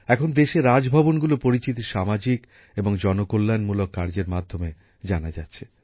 এখন দেশে রাজভবনগুলোর পরিচিতি সামাজিক এবং জনকল্যাণমূলক কার্যের মাধ্যমে জানা যাচ্ছে